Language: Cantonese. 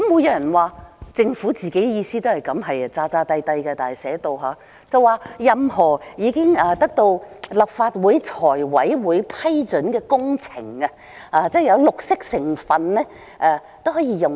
有人說政府的意思也是這樣，但寫出來卻是裝模作樣，說任何已經得到立法會財務委員會批准的工程，只要有綠色成分都可以使用。